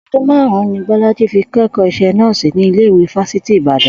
O̩dún márùn-ún ni Bó̩lájí fi ké̩kò̩ó is̩é̩ nó̩ò̩sì ní ilé ìwé Fásitì Ìbàdàn